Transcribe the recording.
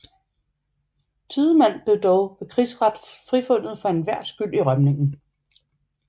Tidemand blev dog ved krigsret frifundet for enhver skyld i rømningen